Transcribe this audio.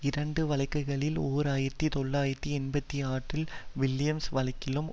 இரண்டு வழக்குகளில் ஓர் ஆயிரத்தி தொள்ளாயிரத்து எண்பத்தி ஆற்றில் வில்லியம்ஸ் வழக்கிலும்